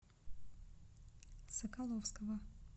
соколовского